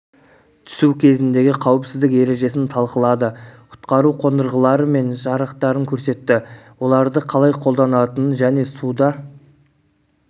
түсу кезіндегі қауіпсіздік ережесін талқылады құтқару қондырғылары мен жарақтарын көрсетті оларды қалай қолданатынын және суда